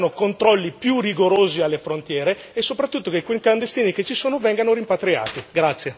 Quindi, servono controlli più rigorosi alle frontiere e soprattutto che quei clandestini che ci sono vengano rimpatriati.